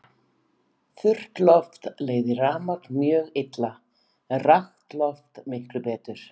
Þurrt loft leiðir rafmagn mjög illa en rakt loft miklu betur.